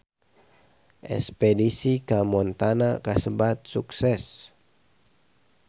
Espedisi ka Montana kasebat sukses